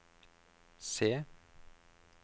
C